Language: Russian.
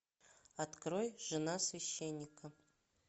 открой жена священника